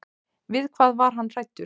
Við hvað var hann hræddur?